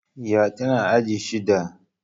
Ƴa ta tana aji shida